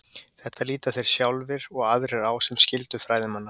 Þetta líta þeir sjálfir og aðrir á sem skyldu fræðimanna.